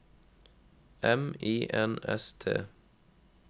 M I N S T